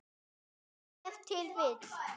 Var það ef til vill.